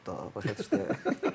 Bu yat da, başa düşdü?